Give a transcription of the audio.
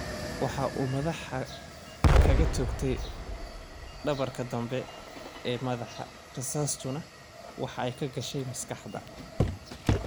Waxa uu madaxa kaga toogtay dhabarka dambe ee madaxa, rasaastuna waxa ay ka gashay maskaxda.